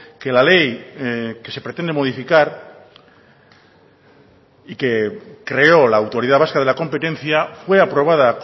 que la ley que se pretende modificar y que creó la autoridad vasca de la competencia fue aprobada